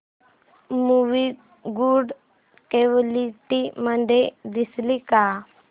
movie good quality मध्ये दिसेल का